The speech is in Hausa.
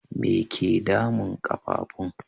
Me ke damun ƙafafun?